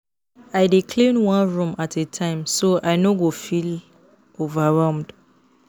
I dey clean one room at a time so I no go feel overwhelmed.